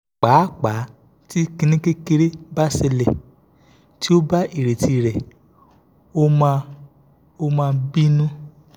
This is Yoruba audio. paapa ti kini kekere ba ṣẹlẹ ti o ba ireti re o ma o ma binu